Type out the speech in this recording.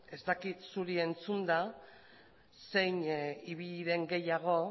ez dakit zuri entzunda zein ibili den gehiago